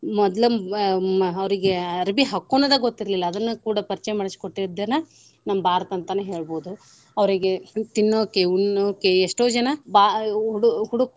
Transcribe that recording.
ಮೊದ್ಲ ಅವ್ರಿಗೆ ಅರಬಿ ಹಾಕೋನೋದ ಗೊತ್ತಿರ್ಲಿಲ್ಲಾ ಅದನ್ನ ಕೂಡ ಪರಚಯ ಮಾಡ್ಸಿಕೊಟ್ಟಿದ್ದನ ನಮ್ಮ ಭಾರತ ಅಂತಾನ ಹೇಳ್ಬಹುದು. ಅವ್ರಿಗೆ ತಿನ್ನೋಕೆ, ಉನ್ನೋಕೆ ಎಷ್ಟೋ ಜನಾ ಭಾ~ .